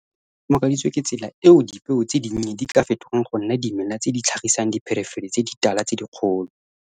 Ke ne ke makaditswe ke tsela eo dipeo tse dinnye di ka fetogang go nna dimela tse di tlhagisang dipherefere tse ditala tse dikgolo.